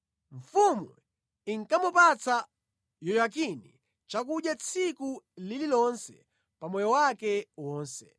Mfumu inkamupatsa Yehoyakini chakudya tsiku lililonse pa moyo wake wonse.